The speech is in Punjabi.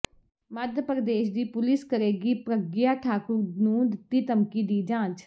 ਮੱਧ ਪ੍ਰਦੇਸ਼ ਦੀ ਪੁਲਿਸ ਕਰੇਗੀ ਪ੍ਰਗਿਆ ਠਾਕੁਰ ਨੂੰ ਦਿੱਤੀ ਧਮਕੀ ਦੀ ਜਾਂਚ